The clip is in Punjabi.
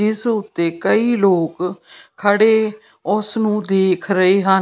ਇਸ ਉੱਤੇ ਕਈ ਲੋਕ ਖੜ੍ਹੇ ਉਸ ਨੂੰ ਦੇਖ ਰਹੇ ਹਨ।